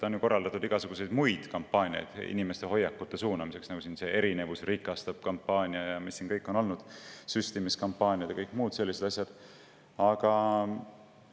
On ju korraldatud igasuguseid muid kampaaniaid inimeste hoiakute suunamiseks, nagu kampaania "Erinevus rikastab", süstimiskampaaniad ja kõik muud sellised asjad, mis siin on olnud.